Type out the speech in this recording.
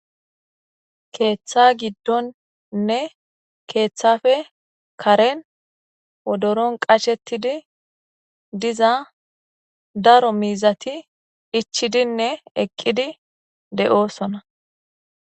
Keeththa giddonnne keeththafe karen odoron qashettidi diza daro miizati ichidinne eqqidi de7oosona.